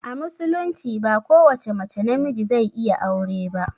A musulunci ba ko wace mace na miji zai iya aure ba